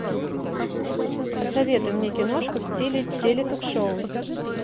посоветуй мне киношку в стиле теле ток шоу